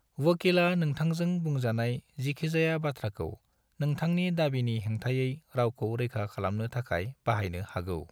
वकीला नोंथांजों बुंजानाय जिखिजाया बाथ्राखौ नोंथांनि दाबिनि हेंथायै गावखौ रैखा खालामनो थाखाय बाहायनो हागौ।